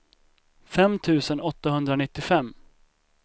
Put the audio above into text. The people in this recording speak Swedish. fem tusen åttahundranittiofem